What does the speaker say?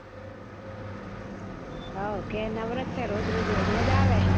how ઘર નવરો જ છે રોજ રોજ હેડ્યો જ આવે